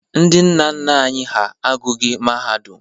Ndị nna nna anyị hà agụghị mahadum.